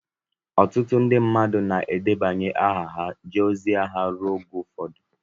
ọtụtụ ndị mmadụ na-edebanye aha ka ha jee ozi agha ruo oge ụfọdụ